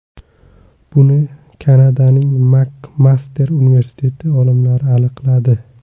Buni Kanadaning Makmaster universiteti olimlari aniqladi.